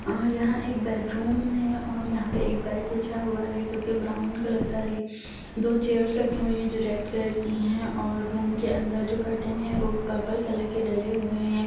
अ यहाँ एक बेडरूम है और यहाँ एक बेड बिछा हुआ है जो की ब्राउन कलर का है दो चेयर्स रखी हुई हैं जो रेड कलर की है और रूम के अंदर जो कर्टन है वो पर्पल की डले हुए हैं।